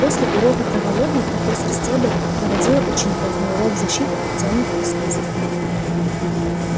после урока травологии профессор стебль проводила учеников на урок защиты от тёмных искусств